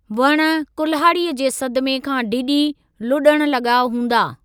वण कुल्हाड़ीअ जे सदमे खां डिॼी लुॾण लॻा हूंदा।